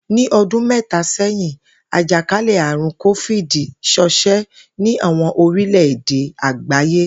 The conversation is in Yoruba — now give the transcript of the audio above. Ní o̩dún mé̩ta sé̩yin, àjàkálè̩-àrùn Kófíìdì s̩o̩s̩é̩ ní àwo̩n oríle̩ èdè àgbáyé